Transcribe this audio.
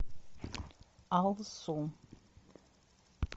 алсу